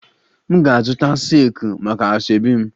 M ga-azụta silki maka asoebi m